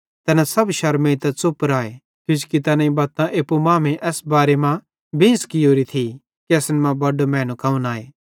तैना सब शरमेइतां च़ुप राए किजोकि तैनेईं बत्तां एप्पू मांमेइं एसेरे बारे मां बेंस कियोरी थी कि असन मां बड्डो मैनू कौन आए